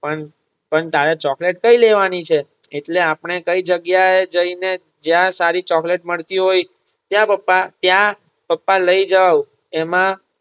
પણ પણ તારે ચોકલેટ કઈ લેવાની છે એટલે આપણે કઈ જગ્યા એ જઈને જ્યાં સારી ચોકલેટ મળતી હોય ત્યાં પપ્પા ત્યાં પપ્પા લઈ જાવ એમાં